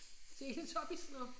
Teletubbies